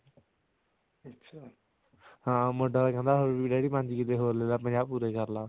ਹਾਂ ਮੁੰਡਾ ਤਾਂ ਕਹਿੰਦਾ ਡੈਡੀ ਪੰਜ ਕਿੱਲੇ ਹੋਰ ਲੈਲਾ ਪੰਜਾਹ ਪੂਰੇ ਕਰਲਾ